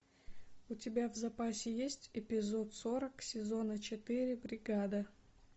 у тебя в запасе есть эпизод сорок сезона четыре бригада